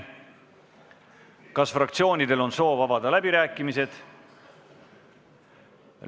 Kas fraktsioonidel on soovi avada läbirääkimisi?